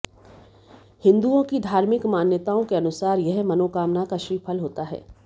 हिंदुओं की धार्मिक मान्यताओं के अनुसार यह मनोकामना का श्रीफल होता है